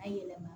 A yɛlɛma